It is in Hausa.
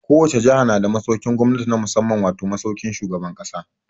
Ko wace jaha na da masaukin gwamnati na musamman wato, masaukin shugaban ƙasa.